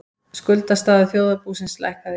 Skuldastaða þjóðarbúsins lækkaði